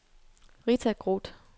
Rita Groth